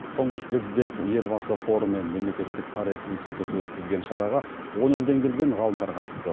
тұңғыш президент елбасы қоры мен мемлекеттік тарихы институты өткізген шараға он елден келген ғалымдар қатысты